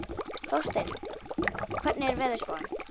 Þórsteinunn, hvernig er veðurspáin?